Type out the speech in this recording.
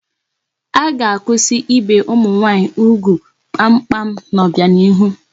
A ga-akwụsị ibe ụmụ nwaanyị ugwu kpamkpam n'ọbianihu